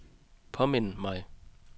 påmind mig